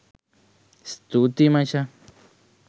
ස්තුතියි මචං